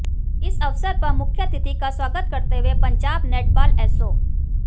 इस अवसर पर मुख्यातिथि का स्वागत करते हुए पंजाब नेटबाल एसो